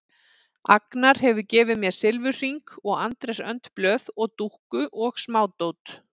Agnar hefur gefið mér silfurhring og Andrés önd blöð og dúkku og smádót.